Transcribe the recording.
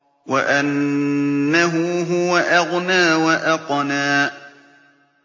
وَأَنَّهُ هُوَ أَغْنَىٰ وَأَقْنَىٰ